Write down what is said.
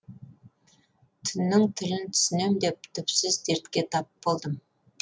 түннің тілін түсінем деп түпсіз дертке тап болдым